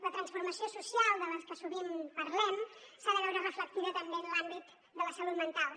la transformació social de la que sovint parlem s’ha de veure reflectida també en l’àmbit de la salut mental